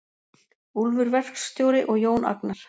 Úlfur verkstjóri og Jón Agnar.